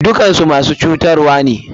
Dukakansu masu cutarwane.